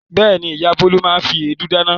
Bẹ́ẹ̀ni, ìyá Bólú máa fi èédú dáná.